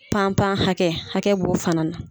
Pan pan hakɛ, hakɛ b'o fana na.